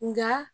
Nka